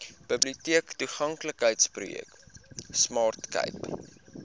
biblioteektoeganklikheidsprojek smart cape